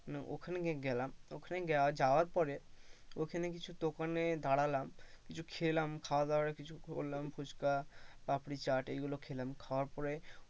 মানে ওখানে গেলাম ওখানে যাওয়ার পরে ওখানে কিছু দোকানে দাঁড়ালাম কিছু খেলাম খাওয়াদাওয়া এর কিছু করলাম ফুচকা, পাপড়ি চাট এইগুলো খেলাম, খাওয়ার পরে,